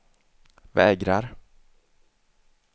vägrar